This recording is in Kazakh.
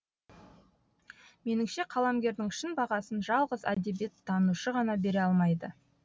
меніңше қаламгердің шын бағасын жалғыз әдебиеттанушы ғана бере алмайды